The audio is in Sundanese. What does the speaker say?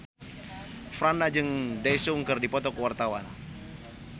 Franda jeung Daesung keur dipoto ku wartawan